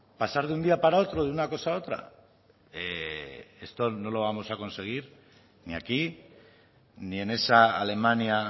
pasar de un día para otro de una cosa otra esto no lo vamos a conseguir ni aquí ni en esa alemania